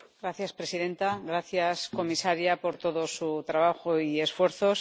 Señora presidenta, gracias comisaria por todo su trabajo y esfuerzos.